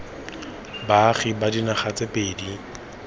baagi ba dinaga tse pedi